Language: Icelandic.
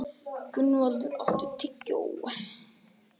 Gunnvaldur, áttu tyggjó?